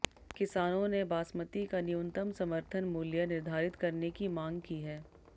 किसानों ने बासमती का न्यूनतम समर्थन मूल्य निर्धारित करने की मांग की है